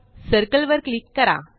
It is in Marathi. सर्कल वर क्लिक करा